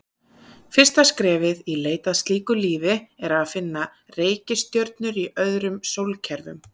Fyrsta skrefið í leit að slíku lífi er að finna reikistjörnur í öðrum sólkerfum.